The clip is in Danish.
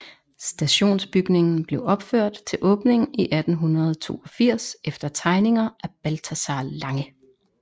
Stationsbygningen blev opført til åbningen i 1882 efter tegninger af Balthazar Lange